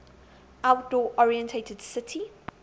outdoor oriented city